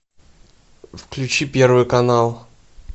включи первый канал